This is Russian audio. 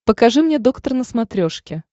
покажи мне доктор на смотрешке